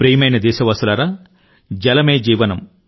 ప్రియమైన దేశవాసులారా జలం ఉంటేనే జీవితం